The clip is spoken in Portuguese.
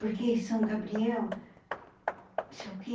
Porque São Gabriel, isso é o quê?